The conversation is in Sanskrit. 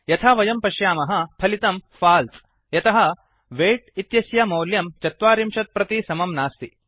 यथा वयं पश्यामः फलितं फल्से यतः वैट् इत्यस्य मौल्यं ४० प्रति समं नास्ति